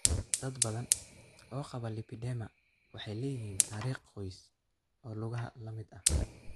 Dad badan oo qaba lipedema waxay leeyihiin taariikh qoys oo lugaha la mid ah.